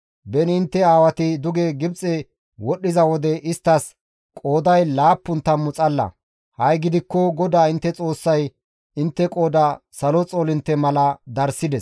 Beni intte aawati duge Gibxe wodhdhiza wode isttas qooday laappun tammu xalla; ha7i gidikko GODAA intte Xoossay intte qooda salo xoolintte mala darssides.